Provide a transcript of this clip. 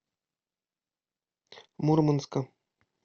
мурманска